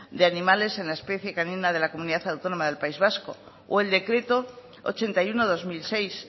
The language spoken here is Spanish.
de animales de la especie canina de la comunidad autónoma del país vasco o el decreto ochenta y uno barra dos mil seis